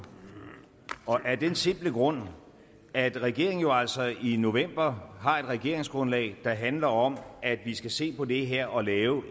af den simple grund at regeringen jo altså i november har et regeringsgrundlag der handler om at vi skal se på det her og lave